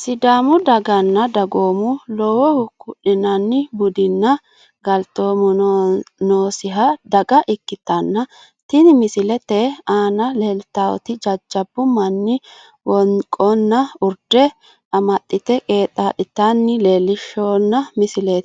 Sidaamu daganna dagoomu lowohu ku'linanri budunna galtoomu noonisa daga ikkitana tini misilete aana leelitawot jajjabu manni woniqonna urde amaxite qeexa'litana